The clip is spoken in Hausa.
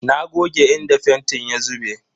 Na goge inda fentin ya zube.